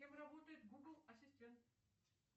кем работает гугл ассистент